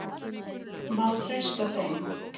Má treysta þeim?